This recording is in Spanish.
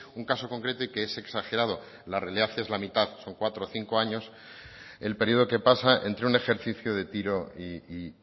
un caso concreto y que es exagerado la realidad es la mitad son cuatro o cinco años el periodo que pasa entre un ejercicio de tiro y